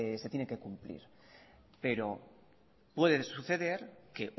se tiene que cumplir pero puede suceder que